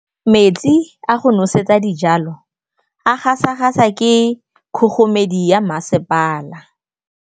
Metsi a go nosetsa dijalo a gasa gasa ke kgogomedi ya masepala.